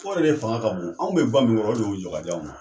yɛrɛ fanga ka bon, anw bɛ ga min kɔrɔ, o de jɔ k'a d'anw ma.